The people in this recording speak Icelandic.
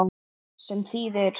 Sem þýðir